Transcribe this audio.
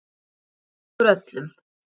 Það gagnast okkur öllum.